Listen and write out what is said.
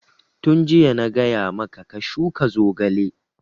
Tun jiya na gaya maka ka shuka zogale!